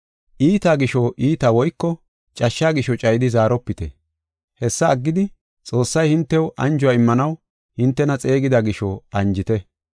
Iita gisho iita woyko cashsha gisho cayidi zaaropite; hessa aggidi, Xoossay hintew anjuwa immanaw hintena xeegida gisho anjite.